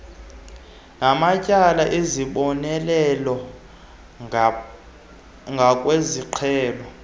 namatyala ezibonelelo ngokwesiqhelo